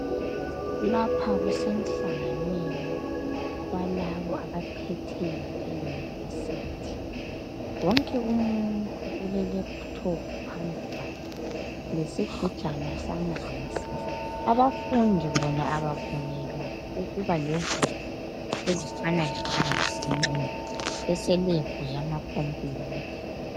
Lapha kusemhlanganweni walaba abaphetheyo eyunivesithi. Wonke umuntu ulelephuthophu phambi kwakhe, lesigujana samanzi Abafundi bona abavunyelwa ukuba lezigubhu zamanzi nxa beselebhu yamacompuyuth.